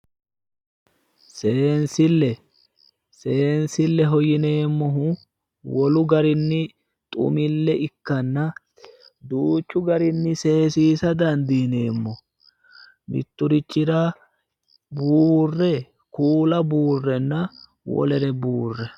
seensille seensilleho yineemmowoyite wolu garinni xumille ikkanna duuchu garinni seesiisa dandiineemmo mitturichira buurre kuula buurrenna wolere buurre.